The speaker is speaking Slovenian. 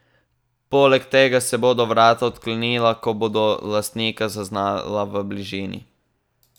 Poleg tega se bodo vrata odklenila, ko bodo lastnika zaznala v bližini.